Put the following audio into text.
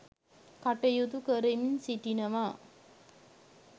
කටයුතු කරමින් සිටිනවා.